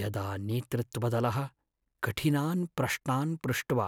यदा नेतृत्वदलः कठिनान् प्रश्नान् पृष्ट्वा